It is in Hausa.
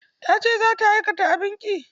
Ta ce za ta aikata abin ƙi.